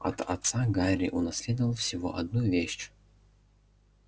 от отца гарри унаследовал всего одну вещь